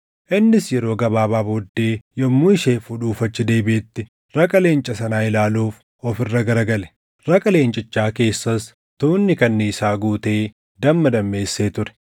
Innis yeroo gabaabaa booddee yommuu ishee fuudhuuf achi deebiʼetti raqa leenca sanaa ilaaluuf of irra gara gale. Raqa leencichaa keessas tuunni kanniisaa guutee damma dammeessee ture;